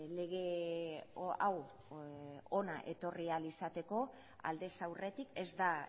lege hau hona etorri ahal izateko aldez aurretik ez da